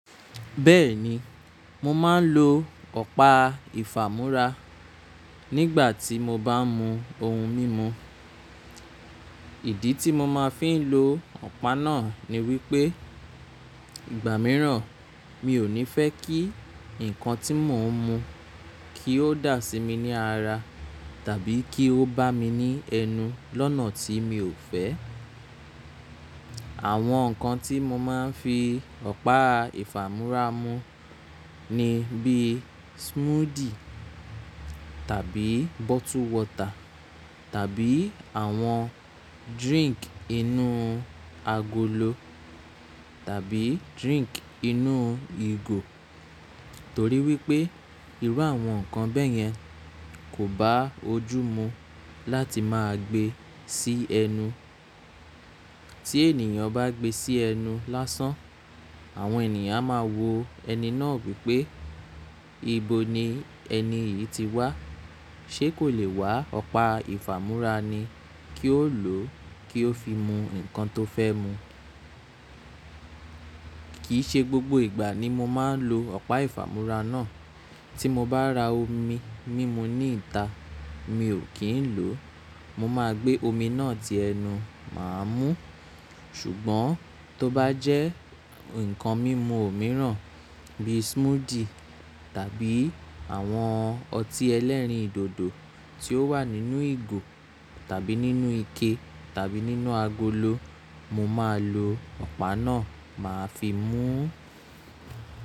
Bẹ́ẹ̀ni, mo máa ń lo ọ̀pá ìfàmú́ra nígbà tí mo bá ń mu ohun mímu. Ìdí tí mo máa fi ń lo ọ̀pá náà ni wípé ìgbà mìíràn mi ò ní fẹ́ kí ǹkan tí mò ń mu kí ó dà sí mi ní ara tàbí kí ó bá mi ní ẹnu lọ́nà tí mi ò fẹ́. Àwọn ǹkan tí mo máa ń fi ọ̀pá ìfàmú́ra mu ni bíi smoothie tàbí bottled water tàbí àwọn drink inú agolo tàbí drink inú ìgò. Torí wípé irú àwọn ǹkan bẹ́yẹn kò bá ojú mu láti máa gbe sí ẹnu. Tí ènìyàn bá gbe sí ẹnu lásán, àwọn ènìyàn máa wo ẹni náà wípé, "Ìbò ni ẹni yìí ti wá? Ṣé kò lè wá ọ̀pá ìfàmú́ra ni kí ó lò kí ó fi mu ǹkan tó fẹ́ mu?" Kìí ṣe gbogbo ìgbà ni mo máa ń lo ọ̀pá ìfàmú́ra náà. Tí mo bá ra omi mímu ní ìta, mi ò kí ń lòó Mo máa gbé omi náà tí ẹnu máa mú. Ṣùgbọ́n tó bá jẹ́ ǹkan mímu mìíràn bíi smoothie tàbí àwọn ọtí ẹlẹ́rìndòdò tí ó wà nínú ìgò tàbí nínú ike tàbí nínú agolo, mo máa lo ọ̀pá náà máa fi mú.